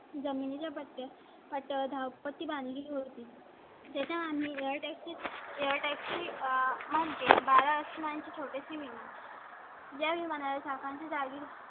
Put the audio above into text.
जमिनी ला बत्तीस दहा पती बांधली होती. त्याच्या मुळे . आसमान छोटी शी . या विमाना चा काळ जागी